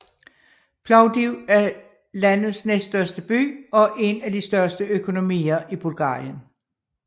Plovdiv er landets næststørste by og en af de største økonomier i Bulgarien